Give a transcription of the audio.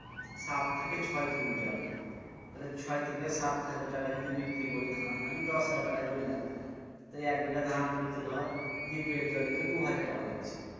সাত থেকে ছয় কুইন্টাল তালে ছয় থেকে সাত হাজার টাকা যদি বিক্রি করি ধান আমি দশ হাজার টাকাই ধরলাম তো এ এক বিঘা ধান পুঁততে ধর ডিপের জলই তো দু হাজার টাকা লাগছে